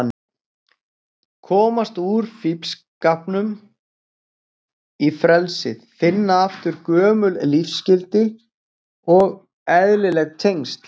Komast úr fíflskapnum í frelsið, finna aftur gömul lífsgildi og eðlileg tengsl.